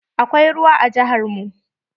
Akwai ruwa a rijiyar mu.